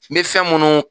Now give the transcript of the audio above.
N bɛ fɛn minnu